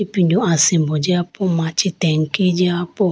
ipindu asimbo jiya po machi tanki jiya po.